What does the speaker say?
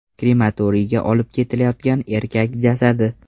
Krematoriyga olib ketilayotgan erkak jasadi.